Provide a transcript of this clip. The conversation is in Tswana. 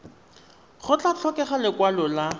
go tla tlhokega lekwalo la